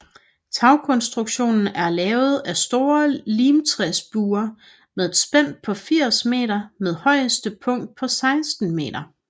Tagkonstruktionen er lavet af store limtræsbuer med et spænd på 80 meter med højeste punkt på 16 meter